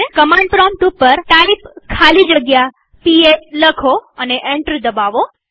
command prompt ઉપર type ખાલી જગ્યા પીએસ લખો અને એન્ટર દબાવો